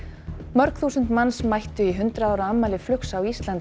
mörg þúsund manns mættu í hundrað ára afmæli flugs á Íslandi